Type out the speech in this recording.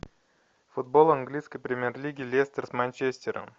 футбол английской премьер лиги лестер с манчестером